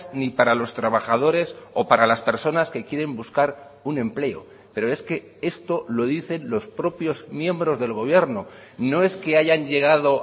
ni para los trabajadores o para las personas que quieren buscar un empleo pero es que esto lo dicen los propios miembros del gobierno no es que hayan llegado